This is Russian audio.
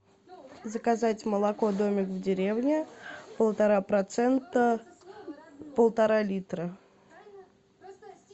заказать молоко домик в деревне полтора процента полтора литра